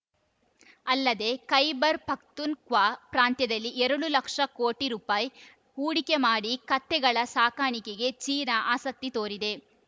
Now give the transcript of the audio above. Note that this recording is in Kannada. ಅಲ್ಲದೇ ಖೈಬರ್‌ ಪಖ್ತೂನ್‌ಖ್ವಾ ಪ್ರಾಂತ್ಯದಲ್ಲಿ ಎರಡು ಲಕ್ಷ ಕೋಟಿ ರುಪಾಯಿ ಹೂಡಿಮೆ ಮಾಡಿ ಕತ್ತೆಗಳ ಸಾಕಾಣಿಕೆಗೆ ಚೀನಾ ಆಸಕ್ತಿ ತೋರಿದೆ